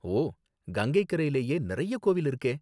ஓ, கங்கைக்கரையிலயே நிறைய கோவில் இருக்கே!